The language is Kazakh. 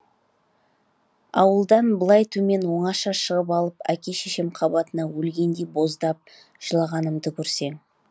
ауылдан былай төмен оңаша шығып алып әке шешем қабатына өлгендей боздап жылағанымды көрсең